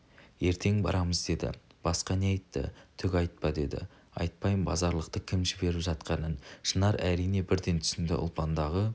ертең барамыз деді басқа не айтты түк айтпа деді айтпайым базарлықты кім жіберіп жатқаның шынар әрине бірден түсінді ұлпандағы